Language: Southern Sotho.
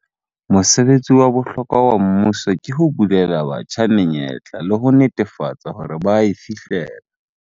Mosebetsi wa bohlokwa wa mmuso ke ho bulela batjha menyetla le ho netefatsa hore ba a e fihlella.